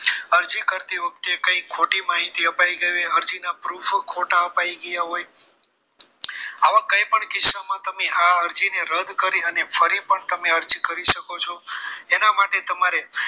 અરજી કરતી વખતે કંઈક ખોટી માહિતી અપાઈ ગઈ હોય અરજીના ખોટા proof અપાઈ ગયા હોય આવા કોઈ પણ કિસ્સામાં આ અરજીને રદ કરી અને ફરી પણ તમે અરજી કરી શકો છો એના માટે તમારે